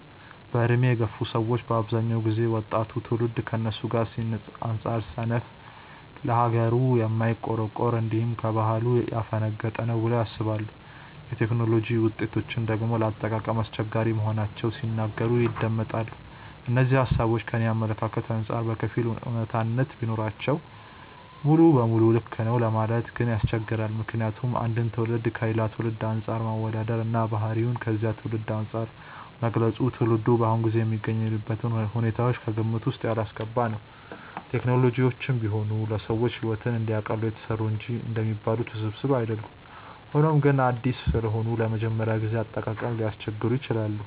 በዕድሜ የገፉ ሰዎች በአብዛኛው ጊዜ ወጣቱ ትውልድ ከነሱ ጊዜ አንጻር ሰነፍ፣ ለሀገሩ የማይቆረቆር፣ እንዲሁም ከባህሉ ያፈነገጠ ነው ብለው ያስባሉ። የቴክኖሎጂ ውጤቶችን ደግሞ ለአጠቃቀም አስቸጋሪ መሆናቸውን ሲናገሩ ይደመጣል። እነዚህ ሃሳቦች ከኔ አመለካከት አንጻር በከፊል አውነታነት ቢኖራቸውም ሙሉ ለሙሉ ልክ ነው ለማለት ግን ያስቸግራል። ምክንያቱም አንድን ትውልድ ከሌላ ትውልድ አንፃር ማወዳደር እና ባህሪውን ከዚያ ትውልድ አንፃር መግለጽ ትውልዱ በአሁኑ ጊዜ የሚገኝበትን ሁኔታዎች ከግምት ውስጥ ያላስገባ ነው። ቴክኖሎጂዎችም ቢሆኑ ለሰዎች ሕይወትን እንዲያቀሉ የተሰሩ እንጂ እንደሚባሉት ውስብስብ አይደሉም። ሆኖም ግን አዲስ ስለሆኑ ለመጀመሪያ ጊዜ አጠቃቀም ሊያስቸግሩ ይችላሉ።